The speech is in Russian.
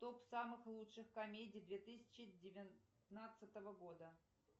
топ самых лучших комедий две тысячи девятнадцатого года